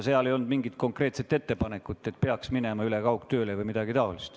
Seal ei olnud mingisugust konkreetset ettepanekut, et peaksime minema üle kaugtööle või midagi taolist.